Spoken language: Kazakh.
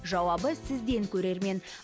жауабы сізбен көрермен